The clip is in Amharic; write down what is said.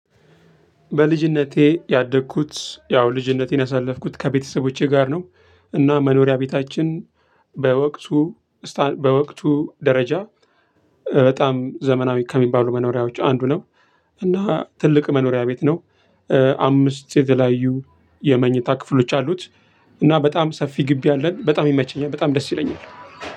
በልጅነቴ ያደኩት ያው ልጅነቴን ያሳለፍኩት ከቤተሰቦቼ ጋር ነው። እና መኖሪያ ቤታችን በወቅቱ ስታ በወቅቱ ደረጃ በጣም ዘመናዊ ከሚባሉ መኖሪያዎች አንዱ ነው። እና ትልቅ መኖሪያ ቤት ነው። አምስት የተለያዩ የመኝታ ክፍሎች አሉት። እና በጣም ሰፊ ግቢ አለን በጣም ይመቸኛል በጣም ደስ ይለኛል።